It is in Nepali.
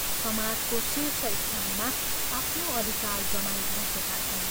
समाजको शीर्ष स्थानमा आफ्नो अधिकार जमाई बसेका छन्।